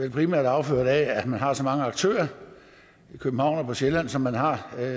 vel primært affødt af at man har så mange aktører i københavn og på sjælland som man har jeg